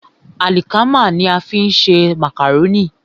Àlìkámà ní a fi ń ṣe màkàrónì.